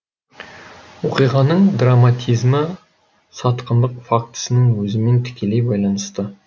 оқиғаның драматизмі сатқындық фактісінің өзімен тікелей байланысты